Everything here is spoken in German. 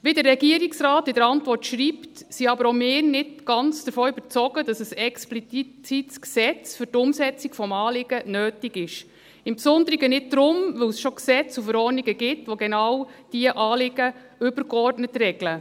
Wie der Regierungsrat in der Antwort schreibt, sind aber auch wir nicht ganz davon überzeugt, dass ein explizites Gesetz für die Umsetzung des Anliegens nötig ist – im Besonderen darum nicht, weil es schon Gesetze und Verordnungen gibt, die genau diese Anliegen übergeordnet regeln.